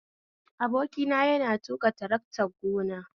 Abokina yana tuƙa taraktar gona